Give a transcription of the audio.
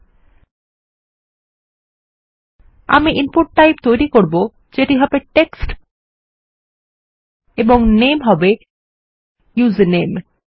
আমি আমাদের input type তৈরী করব যেটি হবে টেক্সট এবং নামে হবে ইউজারনেম